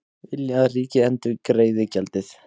Vilja að ríkið endurgreiði gjaldið